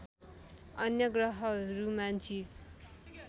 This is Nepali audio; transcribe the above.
अन्य ग्रहहरूमा जीव